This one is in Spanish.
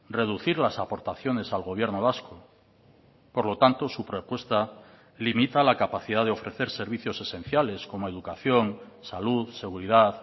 reducir las aportaciones al gobierno vasco por lo tanto su propuesta limita la capacidad de ofrecer servicios esenciales como educación salud seguridad